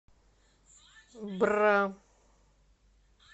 бра